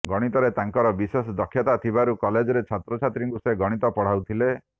ଗଣିତରେ ତାଙ୍କର ବିଶେଷ ଦକ୍ଷତା ଥିବାରୁ କଲେଜରେ ଛାତ୍ରଛାତ୍ରୀଙ୍କୁ ସେ ଗଣିତ ପଢ଼ାଉଥିଲେ